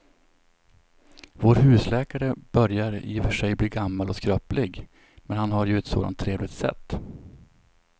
Vår husläkare börjar i och för sig bli gammal och skröplig, men han har ju ett sådant trevligt sätt!